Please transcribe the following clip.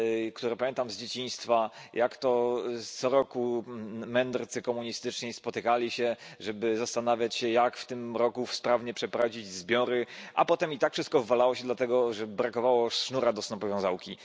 które pamiętam z dzieciństwa, jak to co roku mędrcy komunistyczni spotykali się, żeby zastanawiać się, jak w tym roku sprawnie przeprowadzić zbiory. A potem i tak wszystko wywalało się, dlatego że brakowało sznurka do snopowiązałki.